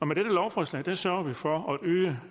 med dette lovforslag sørger vi for at øge